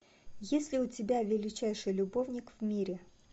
есть ли у тебя величайший любовник в мире